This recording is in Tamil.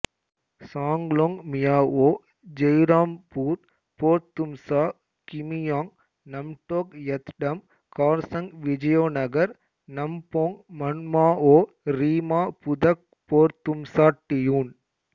சாங்லோங் மியாஓ ஜெய்ராம்பூர் போர்தும்சா கிமியாங் நம்டோக் யத்டம் கார்சங் விஜயோநகர் நம்போங் மன்மாஒ ரீமா புதக் போர்தும்சா டியூன்